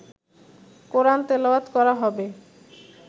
কোরআন তেলাওয়াত করা হবে